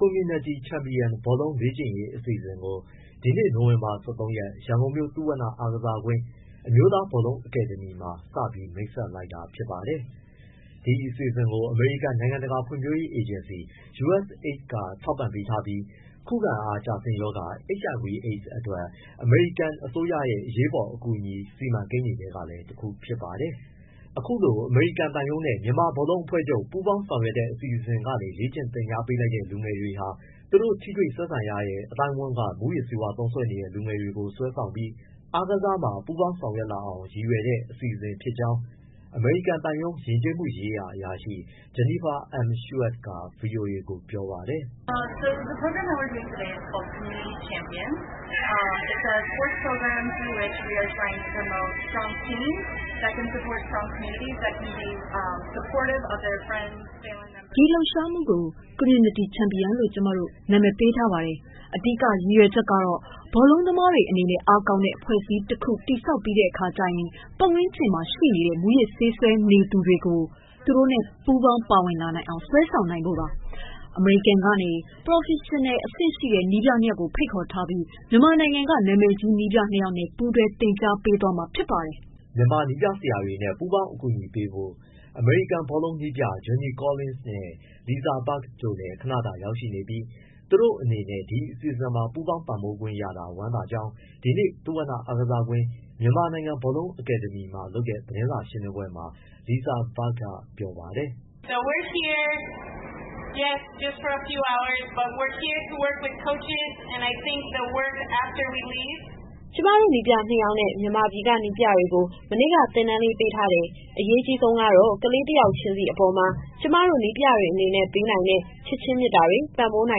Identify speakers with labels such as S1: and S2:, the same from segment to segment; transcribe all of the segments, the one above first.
S1: Community Champion ဘောလုံးလေ့ကျင့်ရေး အစီအစဉ်ကို ဒီနေ့ နိုဝင်ဘာ ၁၃ရက် ရန်ကုန်မြို့ သုဝဏ္ဏအားကစားကွင်း၊ အမျိုးသား ဘောလုံးအကယ်ဒမီမှာ စတင်မိတ်ဆက်လိုက်တာဖြစ်ပါတယ်။ ဒီအစီအစဉ်ကို အမေရိကန် နိုင်ငံတကာ ဖွံ့ဖြိုးရေးအေဂျင်စီ USAID က ထောက်ပံ့ပေးထားပြီး ခုခံအားကျဆင်းရောဂါ HIV/ AIDS အတွက် အမေရိကန်အစိုးရရဲ့ အရေးပေါ်အကူအညီ စီမံကိန်းတွေထဲက တခုလည်းဖြစ်ပါတယ်။ အခုလို အမေရိကန်သံရုံးနဲ့ မြန်မာနိုင်ငံ ဘောလုံးအဖွဲ့ချုပ် ပူးပေါင်းဆောင်ရွက်တဲ့ အစီအစဉ်ကနေ လေ့ကျင့် သင်ကြားပေးလိုက်တဲ့ လူငယ်တွေဟာ သူတို့နဲ့ ထိတွေ့ဆက်ဆံနေတဲ့ အသိုင်းအဝန်းက မူးယစ်ဆေးသုံးစွဲနေတဲ့ လူငယ်တွေကို ဆွဲဆောင်ပြီး အားကစားမှာ ပူးပေါင်းဆောင်ရွက်လာအောင် ရည်ရွယ်တဲ့ အစီအစဉ်ဖြစ်ကြောင်း အမေရိကန်သံရုံး၊ ယဉ်ကျေးမှုရေးရာအရာရှိ Jennifer M. Schuett က ဗွီအိုအေကို ပြောပါတယ်။
S2: “ ဒီ လှုပ်ရှားမှု ကို community champion လို့ခေါ်ပါတယ်။ သူ့ရဲ့ အဓိက ရည်ရွယ်ချက်က ဘောလုံးကစားသမားတွေ အနေနဲ့ အားကောင်းတဲ့ အဖွဲ့အစည်းတခု တည်ဆောက်ပြီးတဲ့အခါကျရင် သူ့ရဲ့ ပတ်ဝန်းကျင်မှာရှိတဲ့ မူးယစ်ဆေးသုံးစွဲနေသူတွေ သူတို့နဲ့ပူးပေါင်းပါဝင်လာအောင် ဆွဲဆောင်နိုင်ဖို့ပါ။ အမေရိကန်ကနေ ပရော်ဖက်ရင်အဆင့်ရှိတဲ့ နည်းပြနှစ်ယောက်ကို ဖိတ်ခေါ်ထားပြီး မြန်မာနိုင်ငံက နာမည်ကြီးနည်းပြနှစ်ယောက်နဲ့ ပူးတွဲသင်ကြားပေးမှာ ဖြစ်ပါတယ်။
S1: ” မြန်မာနည်းပြဆရာတွေနဲ့ ပူးပေါင်းအကူအညီပေးဖို့ အမေရိကန်ဘောလုံးနည်းပြ Johnny Collins နဲ့ Lisa Berg လည်း ခဏတာ ရောက်ရှိနေပြီး သူတို့အနေနဲ့ ဒီအစီအစဉ်မှာ ပူပေါင်းပံ့ပိုးခွင့်ရတာ ဝမ်းသာကြောင်း ဒီနေ့ သုဝဏအားကစားကွင်း၊ မြန်မာနိုင်ငံ ဘောလုံးအကယ်ဒမီမှာလုပ်တဲ့ သတင်းစာရှင်းလင်းပွဲမှာ Lisa Berg ကပြောပါတယ်။
S2: “ ကျမတို့ ခေါင်းဆောင်နည်းပြ နှစ်ယောက်နဲ့ မြန်မာပြည်က နည်းပြတွေကို မနေ့က သင်တန်းလေး ပေးထားတယ်။ အရေးအကြီးဆုံးကတော့ ကလေးတယောက်ချင်းစီ အပေါ်မှာ ကျမတို့ နည်းပြတွေအနေနဲ့ ပေးနိုင်တဲ့ ချစ်ခြင်းမေတ္တာတွေ၊ ပံ့ပိုးပေးနို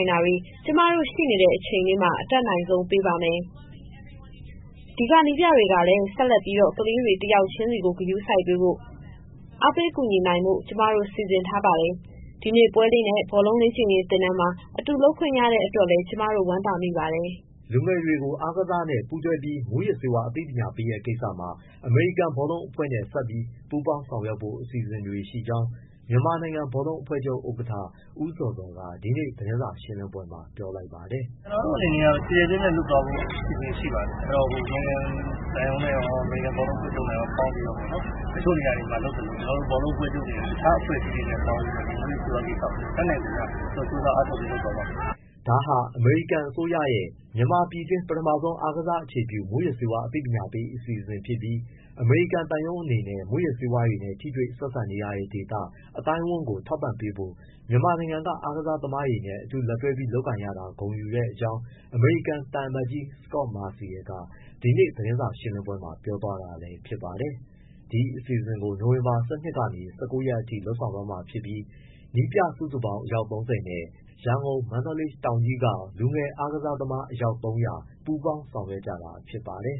S2: င်တာတွေ ကျမတို့ ရှိနေတဲ့အချိန်လေးမှာ အတတ်နိုင်ဆုံးပေးပါမယ်။ ဒီကနည်းပြတွေကလည်း ဆက်လက်ပြီးတော့ ကလေးတွေ တယောက်ချင်းကို ဂရုစိုက်ပေးဖို့၊ အားပေး ကူညီနိုင်ဖို့ ကျမတို့ စီစဉ်ထားပါတယ်။ ဒီနေ့ပွဲလေးနဲ့ ဘောလုံးလေ့ကျင့်ရေးသင်တန်းမှာ အတူလုပ်ခွင့်ရတဲ့ အတွက်လည်း ကျမတို့ ဝမ်းသာမိပါတယ်။”
S1: လူငယ်တွေကို အားကစားနဲ့ ပူးတွဲပြီး မူးယစ်ဆေးဝါးအသိပညာပေးတဲ့ ကိစ္စမှာ အမေရိကန်ဘောလုံးအဖွဲ့နဲ့ ဆက်ပြီး ပူပေါင်းဆောင်ရွက်ဖို့ အစီအစဉ်တွေရှိကြောင်း မြန်မာနိုင်ငံ ဘောလုံးအဖွဲ့ချုပ်ဥက္ကဋ္ဌ ဦးဇော်ဇော်က ဒီကနေ့ သတင်းစာရှင်းလင်းပွဲမှာ ပြောလိုက်ပါတယ်။ “ ကျနော်တို့အနေနဲ့က ကျယ်ကျယ်ပြန့်ပြန့် လုပ်သွားဖို့ အစီအစဉ် ရှိပါတယ်။ အမေရိကန်သံရုံးနဲ့ရော၊ အမေရိကန် ဘောလုံးအဖွဲ့ချုပ်နဲ့ရော ပေါင်းပြီးတော့ပေါ့နော်။ တချို့နေရာတွေမှာလုပ်သလို ကျနော်တို့ ဘောလုံးအဖွဲ့ချုပ်က တခြားအဖွဲ့အစည်းတွေနဲ့ပေါင်း မူးယစ်ဆေးးဝါးကိစ္စကို တတ်နိုင်သမျှ ကြိုးစား အားထုတ်ပြီး လုပ်သွားပါမယ်။” ဒါဟာ အမေရိကန်အစိုးရရဲ့ မြန်မာပြည်တွင်း ပထမဦးဆုံး အားကစားအခြေပြု မူးယစ်ဆေးဝါးအသိပညာပေး အစီအစဉ်ဖြစ်ပြီး အမေရိကန်သံရုံးအနေနဲ့ မူးယစ်ဆေးဝါးနဲ့ ထိတွေ့ပတ်သက်နေရတဲ့ ဒေသ၊ အသိုင်းအဝန်းကို ထောက်ပံ့ပေးဖို့ မြန်မာနိုင်ငံက အားကစားသမားတွေနဲ့ အတူတွဲပြီး လုပ်ကိုင်ရတာ ဂုဏ်ယူတဲ့ကြောင်း သံအမတ်ကြီး Scot Marcial က ဒီနေ့ သတင်းစာရှင်းလင်းပွဲမှာ ပြောသွားတာလည်း ဖြစ်ပါတယ်။ ဒီအစီအစဉ်ကို နိုဝင်ဘာ ၁၂ကနေ ၁၉ ရက်အထိ လုပ်ဆောင်သွားမှာဖြစ်ပြီး နည်းပြစုစုပေါင်း အယောက် ၃၀နဲ့ လူငယ်ဘောလုံးကစားသမား အယောက် ၃၀၀ ပူးပေါင်း ဆောင်ရွက်ကြတာ ဖြစ်ပါတယ်